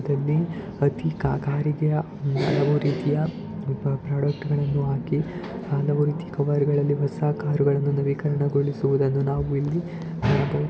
ಇಲ್ಲಿ ಅತೀ ಕಾರಿಗೆ ಎಲ್ಲಾ ರೀತಿಯ ಪ್ರೋಡಾಕ್ಟ್‌ಗಳನ್ನು ಹಾಕಿ ಹಾಳಾದ ಕಾರಗಳನ್ನು ಹೊಸ ಕಾರುಗಳನ್ನಾಗಿ ನವೀಕರಣಗೊಳಿಸುವುದು ನಾವು ಇಲ್ಲಿ ಕಾಣ--